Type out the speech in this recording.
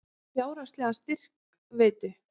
Fjárhagslegan styrk veittu